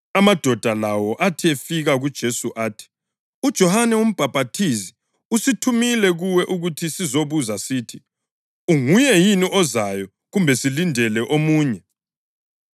Amadoda lawo athi efika kuJesu athi, “UJohane uMbhaphathizi usithumile kuwe ukuthi sizobuza sithi, ‘Unguye yini ozayo kumbe silindele omunye’?”